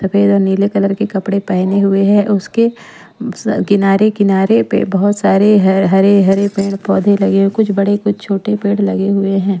सफेद और नीले कलर के कपड़े पहने हुए हैं उसके किनारे-किनारे पे बहुत सारे हरे-हरे पेड़-पौधे लगे कुछ बड़े कुछ छोटे पेड़ लगे हुए हैं।